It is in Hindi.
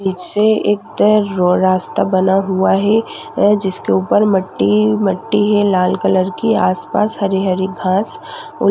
पीछे एक तो रो रास्ता बना हुआ है अ जिसके ऊपर मट्टी मट्टी है लाल कलर की आस-पास हरी-हरी घास उ --